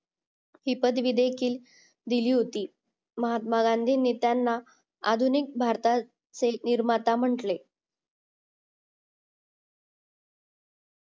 ही पदवी देखील दिली होती महात्मा गांधींनी त्यांना आधुनिक भारताचे निर्माता म्हटले